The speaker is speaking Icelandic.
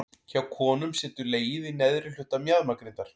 Hjá konum situr legið í neðri hluta mjaðmagrindar.